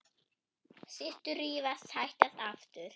Systur rífast, sættast aftur.